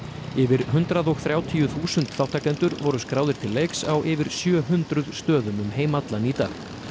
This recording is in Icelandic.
yfir hundrað og þrjátíu þúsund þátttakendur voru skráðir til leiks á yfir sjö hundruð stöðum um heim allan í dag